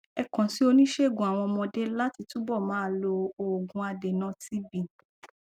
ẹ kàn sí oníṣègùn àwọn ọmọdé láti túbọ máa lo òògùn adènà tb